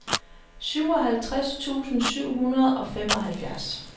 syvoghalvtreds tusind syv hundrede og femoghalvfjerds